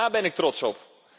Daar ben ik trots op.